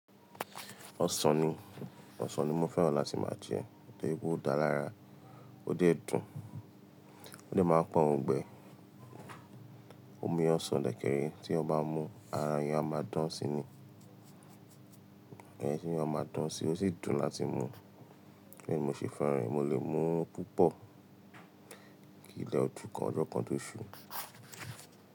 Ọsàn ni, ọsàn ni mo fẹ́ràn láti máa jẹ, to ri pe ó dára lára, ó dẹ̀ dùn, ó dẹ̀ máa ń pa ọ̀ngbẹ́. Omi ọsàn dẹ̀kẹ̀rẹ̀ tí eniyan bá mú, ara ẹniyan a máa dán sí i ni, ẹni tí ẹni a máa dán sí i, ó sì dùn láti mú. Bẹ́ẹ̀ ni mo ṣe fẹ́ràn rẹ̀, mo lè mú púpọ̀, kì í le ojú kan— ọjọ́ kan tó ṣú.